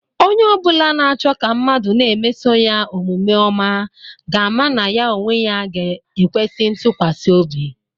Onye obula na-cho ka mmadu na-emeso ya omvme oma ga-ama na ya onwe ya ga-ekwesi itukwasi obi.